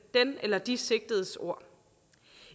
eller de sigtedes ord